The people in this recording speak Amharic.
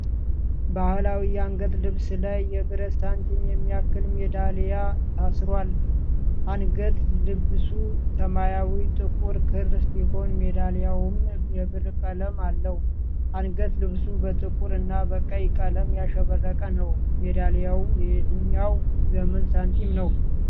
በባህላዊ የአንገት ልብስ ላይ የብረት ሳንቲም የሚያክል ሜዳልያ ታስሯል። አንገት ልብሱ ሰማያዊ ጥቁር ክር ሲሆን ሜዳሊያዉም የብር ቀለም አለው። አንገት ልብሱ በጥቁር እና በቀይ ቀለም ያሸበረቀ ነው። ሜዳሊያው የየትኛው ዘመን ሳንቲም ነው?